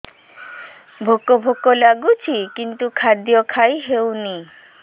ଭୋକ ଭୋକ ଲାଗୁଛି କିନ୍ତୁ ଖାଦ୍ୟ ଖାଇ ହେଉନି